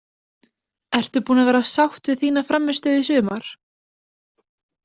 Ertu búin að vera sátt við þína frammistöðu í sumar?